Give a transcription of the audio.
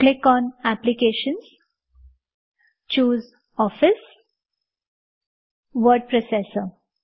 click on applications - choose office word processor